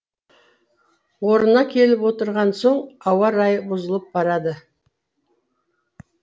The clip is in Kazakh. орнына келіп отырған соң ауа райы бұзылып барады